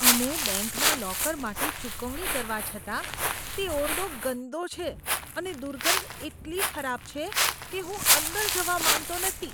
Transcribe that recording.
અમે બેંકના લોકર માટે ચૂકવણી કરવા છતાં, તે ઓરડો ગંદો છે અને દુર્ગંધ એટલી ખરાબ છે કે હું અંદર જવા માંગતો નથી.